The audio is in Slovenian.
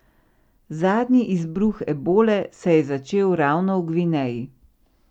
Zadnji izbruh ebole se je začel ravno v Gvineji.